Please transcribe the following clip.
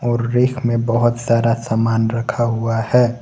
और रेक में बहोत सारा सामान रखा हुआ है।